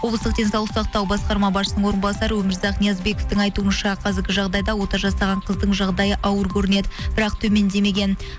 облыстық денсаулық сақтау басқарма басшысының орынбасары өмірзақ ниязбековтің айтуынша қазіргі жағдайда ота жасаған қыздың жағдайы ауыр көрінеді бірақ төмендемеген